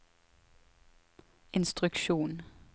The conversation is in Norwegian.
instruksjon